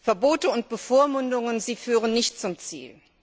Verbote und Bevormundungen führen nicht zum Ziel.